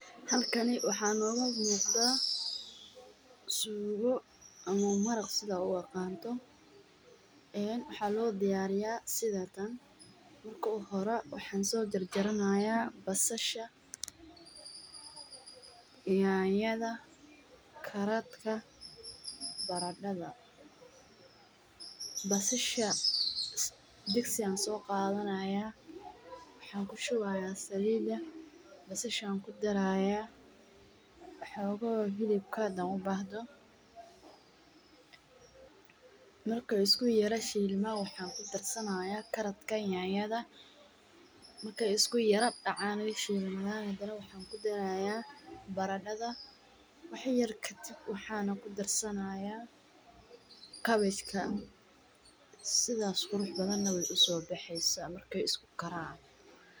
Halkani waxaa noga muqdaa suugo ama maraaq si daa u aqanto, ee waxaa lo diyariyaa sidatan, marka u horee waxan so jarjaranaya basashaa, nyanyada, karadka, baradadha, basashaa diigsi ayan so qadhanayaa, waxan kushuwayaa saliida basashaa ayan kushilayaa, xogoho hilibkaa hadan u bahdo marki iskushilmaan waxan kudarsanayaa karadka nyanyada, marki ee isku yar dacaan ee shilmaadan waxan kudarayaa baradaadha, wax yar kadiib waxanakudarsanayaa cabbage ka sidaas qurux badan nah wey uso baxeysaa.